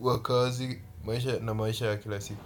wa kazi, maisha na maisha ya kila siku.